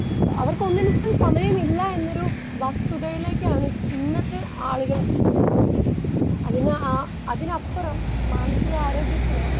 Speaker 2 അവർക്കൊന്നിനും സമയമില്ല എന്നൊരു വസ്തുതയിലേക്കാണ് ഇന്നത്തെ ആളുകൾ എത്തുന്നത്. അതിന് അ, അതിനപ്പുറം മനസികാരോഗ്യത്തിനോ